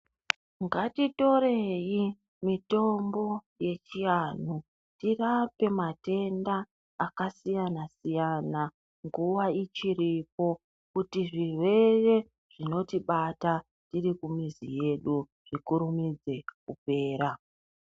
Ngatitorei mitombo yechianhu tirape matenda akasiyana-siyana nguva ichiripo kuti zvirwere zvinotibata tiri kumuzi kwedu zvikurumidze kupera.